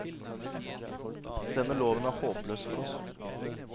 Denne loven er håpløs for oss.